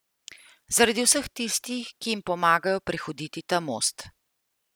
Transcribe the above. Zaradi vseh tistih, ki jim pomagajo prehoditi ta most.